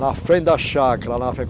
Na frente da chácara,